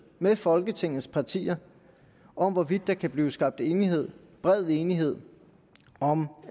med folketingets partier om hvorvidt der kunne blive skabt enighed bred enighed om